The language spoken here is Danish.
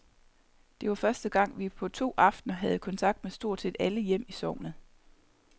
Det var første gang, vi på to aftener havde kontakt med stort set alle hjem i sognet.